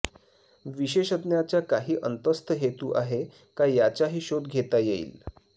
विशेषज्ञाचा काही अंतस्थ हेतू आहे का याचाही शोध घेता येईल